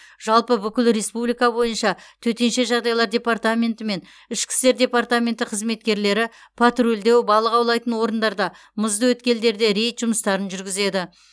жалпы бүкіл республика бойынша төтенше жағдайлар департаменті мен ішкі істер департаменті қызметкерлері патрульдеу балық аулайтын орындарда мұзды өткелдерде рейд жұмыстарын жүргізеді